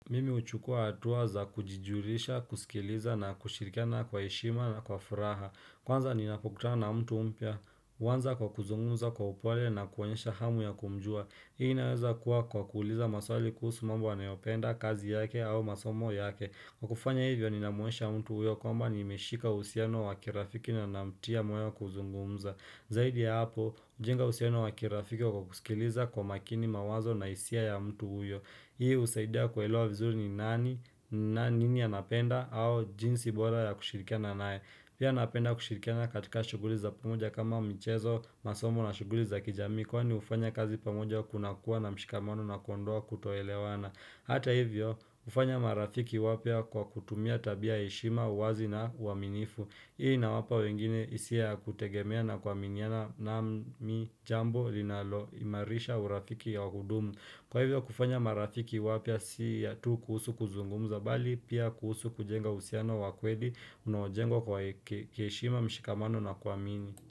Mimi huchukua hatuwa za kujijurisha, kusikiliza na kushirikana kwa ishima na kwa furaha. Kwanza ni napokuta na mtu mpya. Kwanza kwa kuzungumza kwa upole na kuwaonyesha hamu ya kumjua. Hii inaweza kuwa kwa kuuliza maswali kuhusu mambo anayopenda kazi yake au masomo yake. Kwa kufanya hivyo ni namuonyesha mtu uyo kwamba ni imeshika usiano wakirafiki na namtia mwanyo kuzungumza. Zaidi ya hapo, ujinga uhusiano wakirafiki wa kukusikiliza kwa makini mawazo na isia ya mtu uyo. Hii usaidia kuelewa vizuri ni nani na nini anapenda au jinsi bora ya kushirikana nae. Pia napenda kushirikana katika shuguli za pamoja kama mchezo masomo na shuguli za kijamii kwa ni ufanya kazi pamoja kuna kuwa na mshikamano nakondoa kutoelewana. Hata hivyo ufanya marafiki wapia kwa kutumia tabia ishima uwazi na uaminifu. Hii na wapa wengine isia kutegemea na kwa miniana na mi jambo linalo imarisha urafiki ya hudumu. Kwa hivyo kufanya marafiki wapya si ya tu kuhusu kuzungumuza bali pia kuhusu kujenga ushusiano wakweli unawojengwa kwa heshima mshikamano na kuamini.